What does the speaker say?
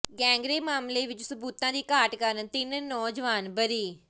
gang rape ਮਾਮਲੇ ਵਿੱਚ ਸਬੂਤਾਂ ਦੀ ਘਾਟ ਕਾਰਨ ਤਿੰਨ ਨੌਜਵਾਨ ਬਰੀ